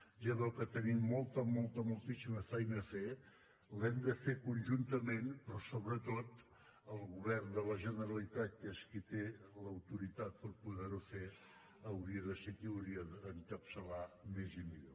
ja veu que tenim molta molta moltíssima feina a fer l’hem de fer conjuntament però sobretot el govern de la generalitat que és qui té l’autoritat per poder ho fer hauria de ser qui hauria d’encapçalar més i millor